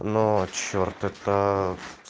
но черт это